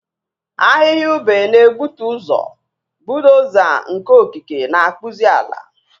Ahịhịa ube na-egbutu ụzọ, bulldoza nke okike na-akpụzi ala.